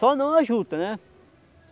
Só não a juta, né?